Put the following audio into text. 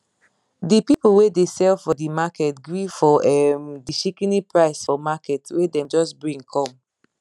di people wey dey sell for di market gree for um di shikini price for market wey dem just bring come